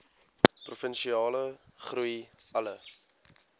provinsiale groei alle